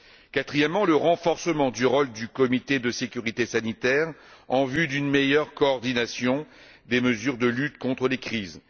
Quatrièmement, le renforcement du rôle du comité de sécurité sanitaire en vue d'une meilleure coordination des mesures de lutte contre les crises.